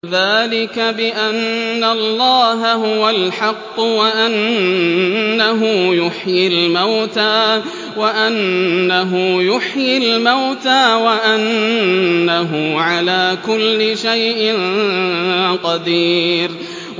ذَٰلِكَ بِأَنَّ اللَّهَ هُوَ الْحَقُّ وَأَنَّهُ يُحْيِي الْمَوْتَىٰ وَأَنَّهُ عَلَىٰ كُلِّ شَيْءٍ قَدِيرٌ